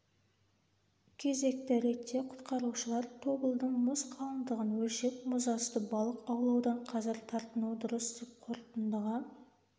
кезекті ретте құтқарушылар тобылдың мұз қалындығын өлшеп мұз асты балық аулаудан қазір тартынуы дұрыс деп қорытындыға